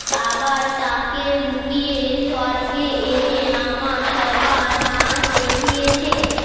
আবার তাকে লুকিয়ে স্বর্গে এনে আমার সবার নাচ দেখিয়েছে